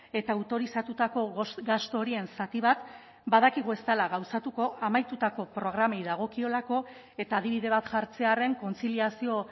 eta autorizatutako gastu horien zati bat badakigu ez dela gauzatuko amaitutako programei dagokiolako eta adibide bat jartzearren kontziliazio